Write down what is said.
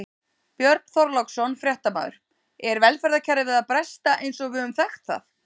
Björn Þorláksson, fréttamaður: Er velferðarkerfið að bresta eins og við höfum þekkt það?